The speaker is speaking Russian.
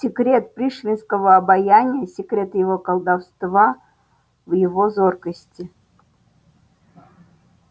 секрет пришвинского обаяния секрет его колдовства в его зоркости